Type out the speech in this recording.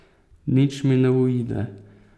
Nič mi ne uide.